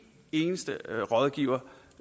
eneste rådgiver